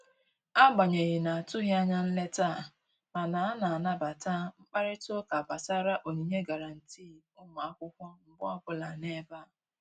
Agbanyeghị na-atụghị anya nleta a, mana a na-anabata mkparịta ụka gbasara onyinye gụrantị ụmụ akwụkwọ mgbe ọbụla n'ebe a